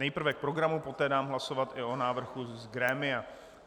Nejprve k programu, poté dám hlasovat i o návrhu z grémia.